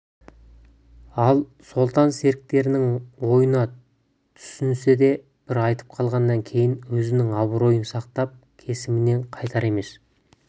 ал сұлтан серіктерінің ойына түсінсе де бір айтып қалғаннан кейін өзінің абыройын сақтап кесімінен қайтар емес